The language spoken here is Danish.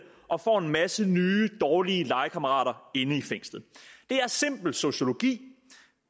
og får en masse nye dårlige legekammerater inde i fængslet det er simpel sociologi